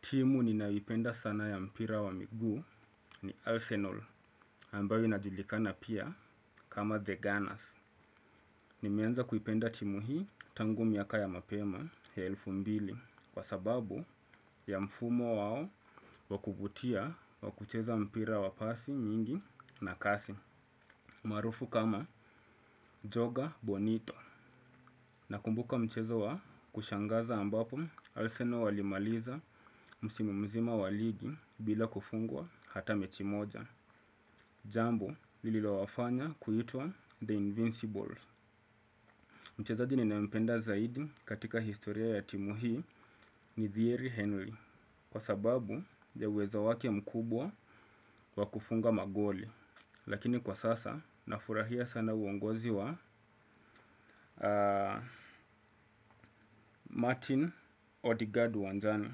Timu ninayoipenda sana ya mpira wa miguu ni Arsenal ambayo inajulikana pia kama The Gunners. Nimeanza kuipenda timu hii tangu miaka ya mapema ya elfu mbili kwa sababu ya mfumo wao wa kuvutia wa kucheza mpira wa pasi nyingi na kasi. Maarufu kama Joga Bonito nakumbuka mchezo wa kushangaza ambapo Arsenal walimaliza msimu mzima wa ligi bila kufungwa hata mechi moja. Jambo lililowafanya kuitwa The Invincibles. Mchezaji ninayompenda zaidi katika historia ya timu hii ni Thierry Henrey. Kwa sababu ya uwezo wake mkubwa wa kufunga magoli. Lakini kwa sasa, nafurahia sana uongozi wa Martin Odegaard uwanjani.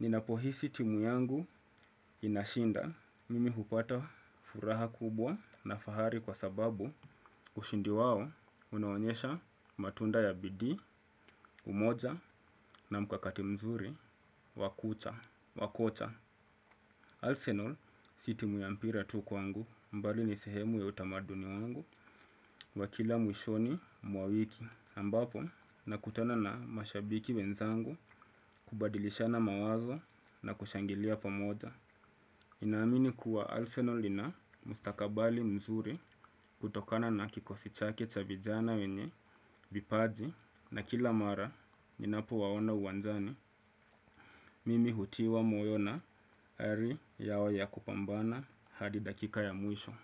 Ninapohisi timu yangu inashinda. Mimi hupata furaha kubwa na fahari kwa sababu ushindi wao unaonyesha matunda ya bidii, umoja na mkakati mzuri wa kucha, wa kocha. Arsenal si timu ya mpira tu kwangu bali ni sehemu ya utamaduni wangu wa kila mwishoni mwa wiki ambapo nakutana na mashabiki wenzangu kubadilishana mawazo na kushangilia pamoja. Ninaamini kuwa Arsenal lina mustakabali mzuri kutokana na kikosi chake cha vijana wenye vipaji na kila mara ninapowaona uwanjani mimi hutiwa moyo na ari yao ya kupambana hadi dakika ya mwisho.